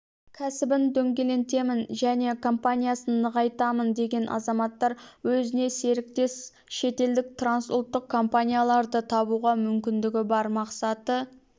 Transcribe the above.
кәсібін дөңгелентемін және компаниясын нығайтамын деген азаматтар өзіне серіктес шетелдік трансұлттық компанияларды табуға мүмкіндігі бар мақсаты